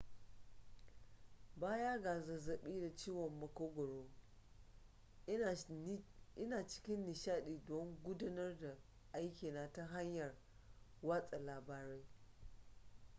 baya ga zazzabi da ciwon makogaro ina cikin nishadi don gudanar da aikina ta hanyar watsa labarai